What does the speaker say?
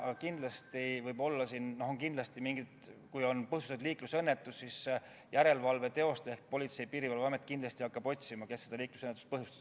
Aga kindlasti on nii, et kui on põhjustatud liiklusõnnetus, siis hakkab järelevalve teostaja ehk Politsei- ja Piirivalveamet otsima, kes selle liiklusõnnetuse põhjustas.